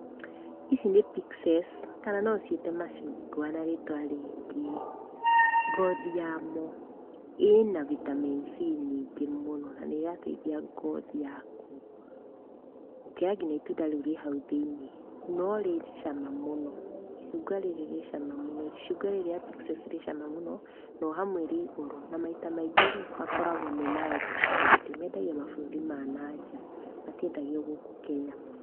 Ici nĩ pixes, kana no ũciĩte macungwa na rĩtwa rĩngĩ. Ngothi yamo, ĩna vitamin C nyingĩ mũno, na nĩ ĩrateithia ngothi yaku, gũkĩra kinya itunda rĩu rĩ hau thĩiniĩ. No rĩ cama mũno, icungwa rĩrĩ rĩ cama mũno. Icungwa rĩrĩ rĩa pixes rĩ cama mũno, no hamwe rĩ goro na maita maingĩ-rĩ, makoragũo me ma exporti, mendagio mabũrũri ma na nja, matiendagio gũkũ Kenya mũno.